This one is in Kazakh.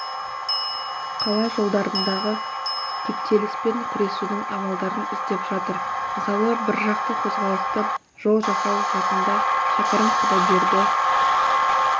қала жолдарындағы кептеліспен күресудің амалдарын іздеп жатыр мысалы біржақты қозғалысты жол жасау жақында шәкәрім құдайберді